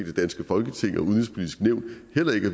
det danske folketing og udenrigspolitisk nævn heller ikke